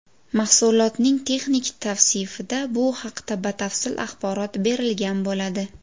Mahsulotning texnik tavsifida bu haqda batafsil axborot berilgan bo‘ladi.